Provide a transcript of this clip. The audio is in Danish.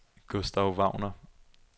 Gustav Wagner